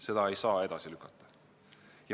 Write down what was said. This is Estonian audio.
Seda ei saa edasi lükata.